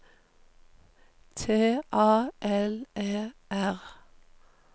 T A L E R